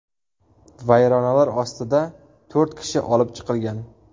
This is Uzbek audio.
Vayronalar ostida to‘rt kishi olib chiqilgan.